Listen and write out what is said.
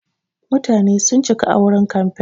Mutane sun cika a wurin kamfen.